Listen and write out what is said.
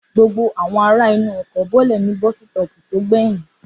Gbogbo àwọn ará inú ọkọ̀ bọ́lẹ̀ ní bọ́sítọ̀ọ̀pù tó gbẹyìn